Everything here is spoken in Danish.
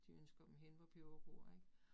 De ønsker dem hen, hvor peberet gror ik